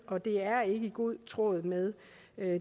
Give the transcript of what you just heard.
og det er ikke i god tråd med